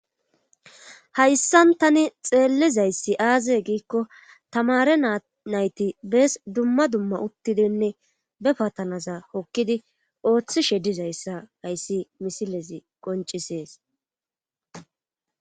hayssan tani xeellizayssi aaze giikko tamare nayti bees dumma dumma uttidinne be patanaza hokkidi ooththishe dizayssa hayssi misilezi qoncisees